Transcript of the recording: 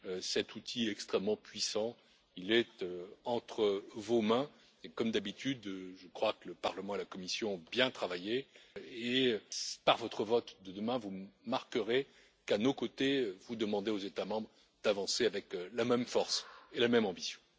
Cet outil extrêmement puissant est entre vos mains et comme d'habitude, je crois que le Parlement et la Commission ont bien travaillé et que, par votre vote de demain, vous marquerez qu'à nos côtés, vous demandez aux États membres d'avancer avec la même force et la même ambition.